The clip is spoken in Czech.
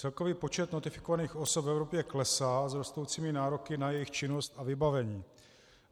Celkový počet notifikovaných osob v Evropě klesá s rostoucími nároky na jejich činnost a vybavení.